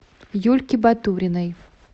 юльке батуриной